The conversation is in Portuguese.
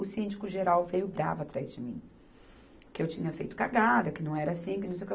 O síndico geral veio bravo atrás de mim, que eu tinha feito cagada, que não era assim, que não sei o que.